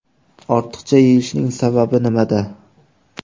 Ortiqcha yeyishning sababi nimada?